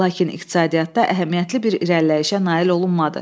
Lakin iqtisadiyyatda əhəmiyyətli bir irəliləyişə nail olunmadı.